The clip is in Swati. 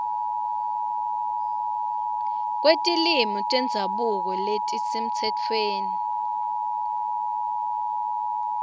kwetilwimi tendzabuko letisemtsetfweni